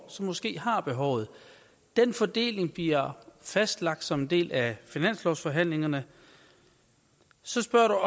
som måske har behovet den fordeling bliver fastlagt som en del af finanslovsforhandlingerne så spørger